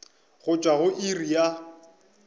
go tšwa go iri ya